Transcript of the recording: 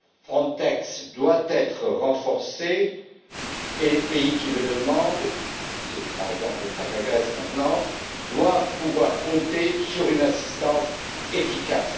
Frontex doit être renforcée et les pays qui le demandent c'est par exemple le cas de la Grèce maintenant doivent pouvoir compter sur une assistance efficace.